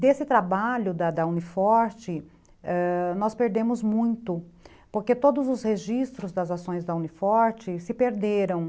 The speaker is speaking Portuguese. Desse trabalho da da Uni Forte, nós perdemos muito, porque todos os registros das ações da Uni Forte, se perderam.